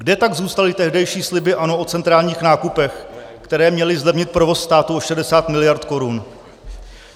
Kde tak zůstaly tehdejší sliby ANO o centrálních nákupech, které měly zlevnit provoz státu o 60 mld. korun?